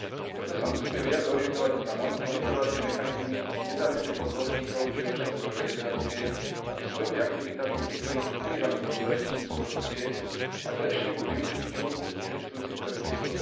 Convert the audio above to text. Preto sa musíme viac orientovať na monitorovacie mechanizmy nezávislých odborníkov či občianske organizácie, aby svojimi aktivitami prispeli k odkrývaniu podozrení z korupcie a k lepšiemu využitiu existujúcich predpisov.